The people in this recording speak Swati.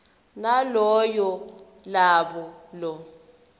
naloyo labo lo